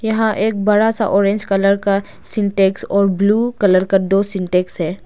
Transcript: यहां एक बड़ा सा ऑरेंज कलर का सिंटेक्स और ब्लू कलर का दो सिंटेक्स है।